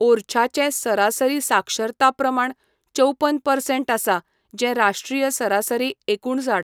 ओरछाचें सरासरी साक्षरता प्रमाण चौपन परसेंट आसा, जें राष्ट्रीय सरासरी एकुणसाठ.